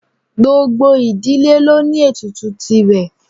Gbogbo ìdílé ló ní ètùtù tìrẹ.